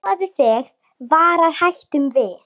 Boð þig varar hættum við.